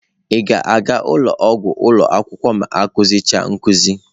Ị ga-aga ụlọ ọgwụ ụlọ akwụkwọ ma akụzi cha nkuzi?